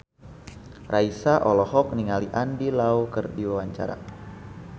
Raisa olohok ningali Andy Lau keur diwawancara